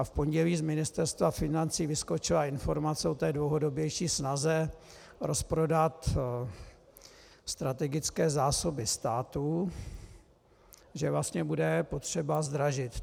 A v pondělí z Ministerstva financí vyskočila informace o té dlouhodobější snaze rozprodat strategické zásoby státu, že vlastně bude potřeba zdražit.